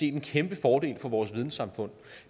en kæmpe fordel for vores videnssamfund